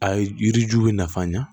A ye yiri ju bɛ nafa ɲa